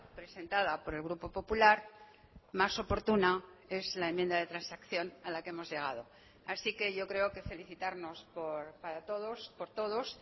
presentada por el grupo popular más oportuna es la enmienda de transacción a la que hemos llegado así que yo creo que felicitarnos para todos por todos